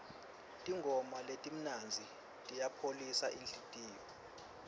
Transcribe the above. tingoma letimnandzi tiyayipholisa inhlitiyo